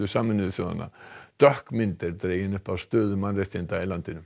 Sameinuðu þjóðanna dökk mynd er dregin upp af stöðu mannréttinda í landinu